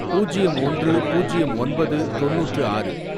பூஜ்யம் ஒன்று, பூஜ்யம் ஒன்பது, தொண்ணூற்று ஆறு